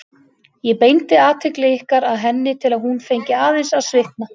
Ég beindi athygli ykkar að henni til að hún fengi aðeins að svitna.